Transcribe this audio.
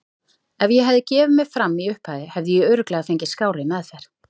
Ef ég hefði gefið mig fram í upphafi hefði ég örugglega fengið skárri meðferð.